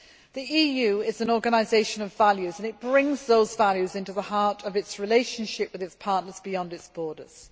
The EU is an organisation of values, and it brings those values into the heart of its relationship with its partners beyond its borders.